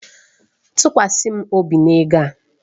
Tụkwasị m obi na ego a.